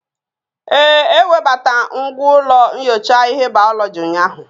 Ee, ewebata ngwa ụlọ nyocha ihe bayoloji ụnyahụ